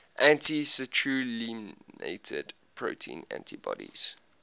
anti citrullinated protein antibodies